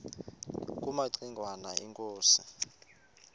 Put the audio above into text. kumaci ngwana inkosi